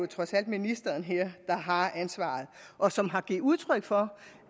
trods alt ministeren her der har ansvaret og som har givet udtryk for